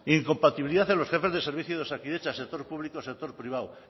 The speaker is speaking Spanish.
incompatibilidad en los jefes de servicio de osakidetza sector público sector privado